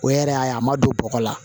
O yɛrɛ y'a ye a ma don bɔgɔ la